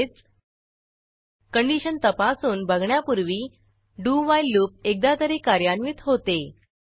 म्हणजेच कंडिशन तपासून बघण्यापूर्वी डू व्हाईल लूप एकदा तरी कार्यान्वित होते